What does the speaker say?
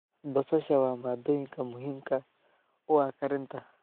Basasha waa maaddooyinka muhiimka u ah karinta.